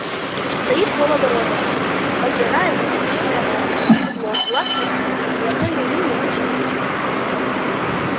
стоит вполоборота поджарая но выточенная ласково без углов глаз не отвести и ни одной её линии лучше не вычертить